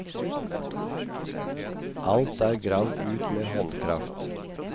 Alt er gravd ut med håndkraft.